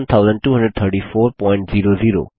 RS